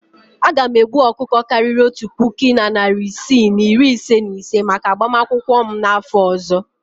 Aga m egbu ọkụkọ karịrị otu puku na narị isii na iri ise na ise maka agbamakwụkwọ m n'afọ ọzọ.